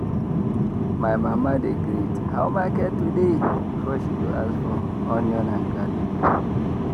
my mama dey greet “how market today?” before she go ask for onion and garlic.